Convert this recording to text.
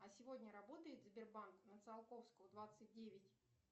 а сегодня работает сбербанк на циолковского двадцать девять